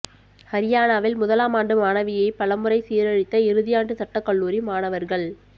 ஹரியானாவில் முதலாமாண்டு மாணவியை பலமுறை சீரழித்த இறுதியாண்டு சட்டக் கல்லூரி மாணவர்கள்